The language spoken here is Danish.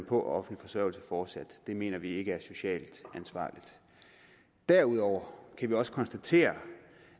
på offentlig forsørgelse fortsat det mener vi ikke er socialt ansvarligt derudover kan vi også konstatere